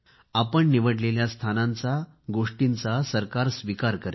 आपण निवडलेल्या स्थानाचा गोष्टीचा सरकार स्वीकार करेल